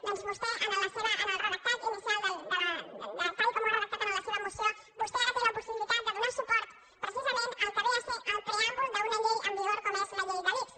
doncs vostè en el redactat inicial de tal com ho ha redactat en la seva moció vostè ara té la possibilitat de donar suport pre·cisament al que ve a ser el preàmbul d’una llei en vi·gor com és la llei de l’ics